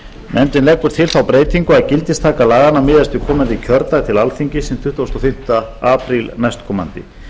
nefndin leggur til þá breytingu að gildistaka laganna miðist við komandi kjördag til alþingis hinn tuttugasta og fimmta apríl næstkomandi